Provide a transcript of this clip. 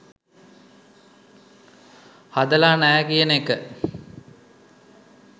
හදලා නැහැ කියන එක.